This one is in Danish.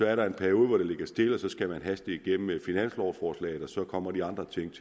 er der en periode hvor det ligger stille og så skal man haste igennem med finanslovforslaget og så kommer de andre ting